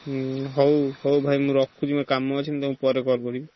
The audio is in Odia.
ହୁଁ ହଉ ହଉ ଭାଇ ମୁଁ ରଖୁଛି ମୋର କାମ ଅଛି ମୁଁ ପରେ call କରିବି।